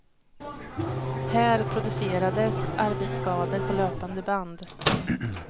Här producerades arbetsskador på löpande band.